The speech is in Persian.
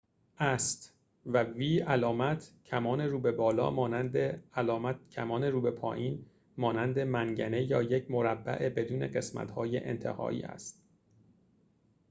علامت کمان رو به بالا مانند یک v است و علامت کمان رو به پایین مانند منگنه یا یک مربع بدون قسمت انتهایی است